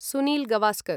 Sunil Gavaskar